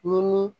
Ni